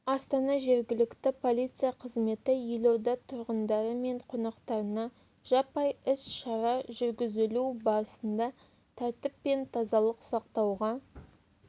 астана жергілікті полиция қызметі елорда тұрғындары мен қонақтарына жаппай іс-шара жүргізілу барысында тәртіп пен тазалық сақтауға